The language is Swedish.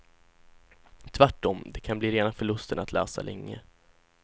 Tvärtom, det kan bli rena förlusten att läsa länge.